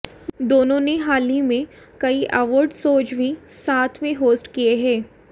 दोनों ने हाल ही में कई अवार्ड शोज भी साथ में होस्ट किये हैं